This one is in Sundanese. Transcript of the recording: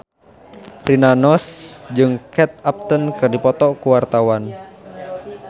Rina Nose jeung Kate Upton keur dipoto ku wartawan